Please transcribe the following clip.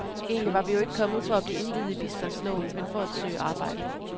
Egentlig var vi jo ikke kommet for at blive indviet i bistandsloven, men for at søge arbejde.